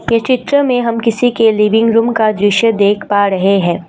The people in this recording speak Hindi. ये चित्र में हम किसी के लिविंग रूम का दृश्य देख पा रहे हैं।